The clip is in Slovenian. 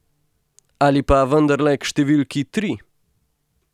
Ali pa vendarle k številki tri?